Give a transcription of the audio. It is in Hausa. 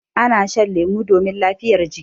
Ana shan lemu domin lafiyar jiki.